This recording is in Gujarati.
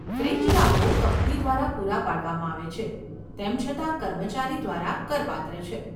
ફ્રિન્જ લાભો કંપની દ્વારા પૂરા પાડવામાં આવે છે, તેમ છતાં કર્મચારી દ્વારા કરપાત્ર છે.